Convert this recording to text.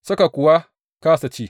Suka kuwa kāsa ci.